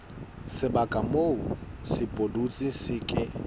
sebaka moo sepudutsi se ke